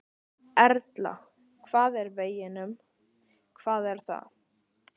Erla: Hvað er að veginum, hvað er að?